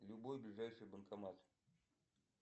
любой ближайший банкомат